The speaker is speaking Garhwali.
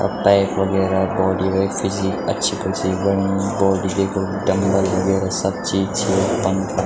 अ टाइप वगैरा बॉडी वेट फिजिक अच्छी कुच्छी बणीं बॉडी देखो डमबल वगैरा सब चीज छीं यखम त।